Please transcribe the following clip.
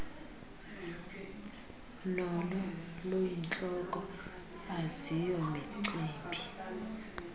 nolo luyintloko aziyomicimbi